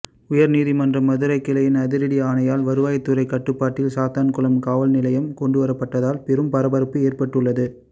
உயர்நீதிமன்ற மதுரை கிளையின் அதிரடி ஆணையால் வருவாய்த்துறை கட்டுப்பாட்டில் சாத்தான்குளம் காவல்நிலையம் கொண்டுவரப்பட்டதால் பெரும் பரபரப்பு ஏற்பட்டுள்ளது